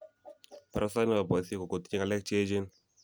Barasait ne bo boisie ko kotinye ng'alek che echen.